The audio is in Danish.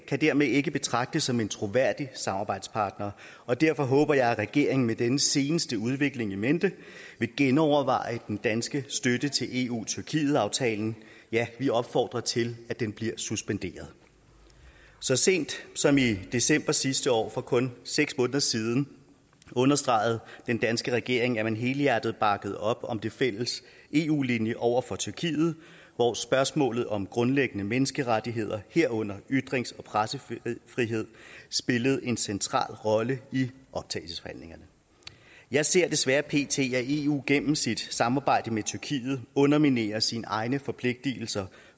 kan dermed ikke betragtes som en troværdig samarbejdspartner og derfor håber jeg at regeringen med den seneste udvikling in mente vil genoverveje den danske støtte til eu tyrkiet aftalen ja vi opfordrer til at den bliver suspenderet så sent som i december sidste år for kun seks måneder siden understregede den danske regering at man helhjertet bakkede op om den fælles eu linje over for tyrkiet hvor spørgsmålet om grundlæggende menneskerettigheder herunder ytrings og pressefrihed spillede en central rolle i optagelsesforhandlingerne jeg ser desværre pt at eu gennem sit samarbejde med tyrkiet underminerer sine egne forpligtelser